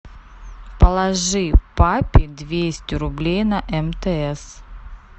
положи папе двести рублей на мтс